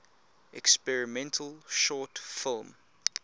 experimental short film